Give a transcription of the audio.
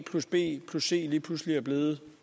b c lige pludselig er blevet